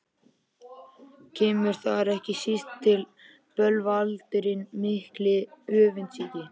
Kemur þar ekki síst til bölvaldurinn mikli, öfundsýki.